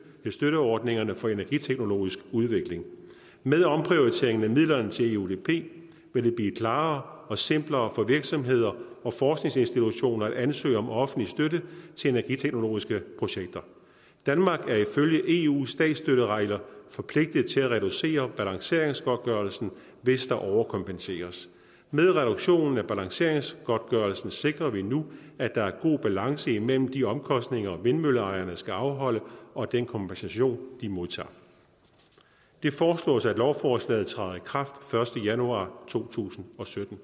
til støtteordningerne for energiteknologisk udvikling med omprioriteringen af midlerne til eudp vil det blive klarere og simplere for virksomheder og forskningsinstitutioner at ansøge om offentlig støtte til energiteknologiske projekter danmark er ifølge eus statsstøtteregler forpligtet til at reducere balanceringsgodtgørelsen hvis der overkompenseres med reduktionen af balanceringsgodtgørelsen sikrer vi nu at der er god balance imellem de omkostninger vindmølleejerne skal afholde og den kompensation de modtager det foreslås at lovforslaget træder i kraft første januar to tusind og sytten